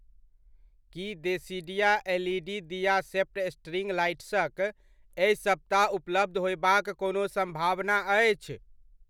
की देसिडिया एलइडी दिया shaped string लाइट्सक एहि सप्ताह उपलब्ध होयबाक कोनो सम्भावना अछि?